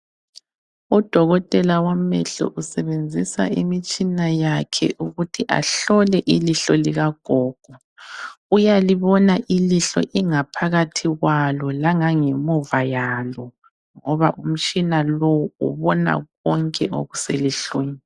Udokotela wamehlo usebenzisa imitshina yakhe ukuthi ahlole ilihlo likagogo. Uyalibona ilihlo ingaphakathi kwalo, langangemuva yalo ngoba umtshina lo ubona konke okuselihlweni.